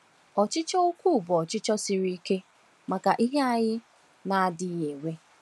Ọchịchọ ukwuu bụ ọchịchọ siri ike maka ihe anyị na-adịghị enwe.